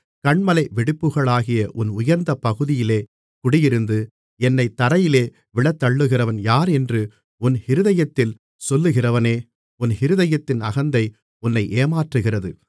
கன்மலை வெடிப்புகளாகிய உன் உயர்ந்த பகுதியிலே குடியிருந்து என்னைத் தரையிலே விழத்தள்ளுகிறவன் யார் என்று உன் இருதயத்தில் சொல்லுகிறவனே உன் இருதயத்தின் அகந்தை உன்னை ஏமாற்றுகிறது